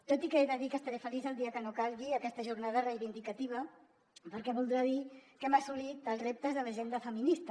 tot i que he de dir que estaré feliç el dia que no calgui aquesta jornada reivindicativa perquè voldrà dir que hem assolit els reptes de l’agenda feminista